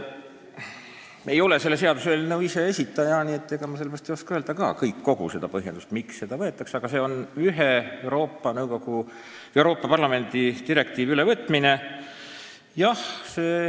Ma ei ole selle seaduseelnõu esitaja ja sellepärast ei oska öelda kõiki põhjendusi, aga tegu on ühe Euroopa Parlamendi ja nõukogu direktiivi ülevõtmisega.